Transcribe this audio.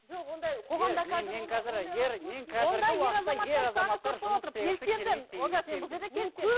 жоқ ондай қоғамда